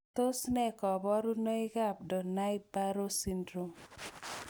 Tos nee koborunoikab Donnai Barrow syndrome?